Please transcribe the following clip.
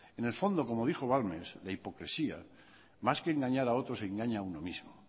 en el fondo como dijo balmes la hipocresía más que engañar a otros engaña a uno mismo